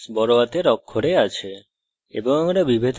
string এর s বড়হাতের অক্ষরে আছে